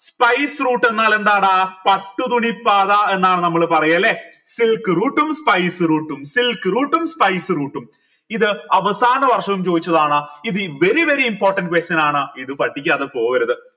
spiceroute എന്നാൽ എന്താണ് പട്ടുതുണി പാത എന്നാണ് നമ്മൾ പറയല്ലേ silk route ഉം spice route ഉം silk route ഉം spice route ഉം ഇത് അവസാന വർഷവും ചോയിച്ചതാണ് ഇത് very very important question ആണ് ഇത് പഠിക്കാതെ പോകരുത്